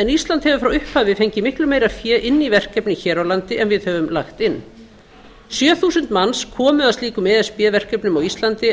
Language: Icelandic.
en ísland hefur frá upphafi fengið miklu meira fé inn í verkefnið hér á landi en við höfum lagt inn sjö þúsund manns komu að slíkum e s b verkefnum á íslandi